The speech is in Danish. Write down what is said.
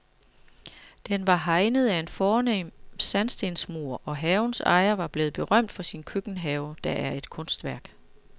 Den var hegnet af en fornem sandstensmur, og havens ejer er blevet berømt for sin køkkenhave, der er et kunstværk.